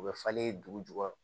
U bɛ falen dugu jukɔrɔ